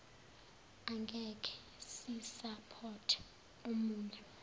angekhe sisapothe omune